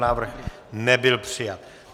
Návrh nebyl přijat.